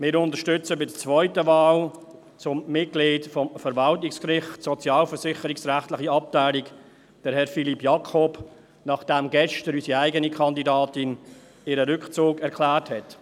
Wir unterstützen bei der zweiten Wahl zum Mitglied des Verwaltungsgerichts, sozialversicherungsrechtliche Abteilung, Herrn Philippe Jakob, nachdem gestern unsere eigene Kandidatin ihren Rückzug erklärt hat.